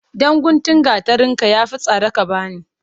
Ɗan guntun gatarin ka ya fi sari ka bani.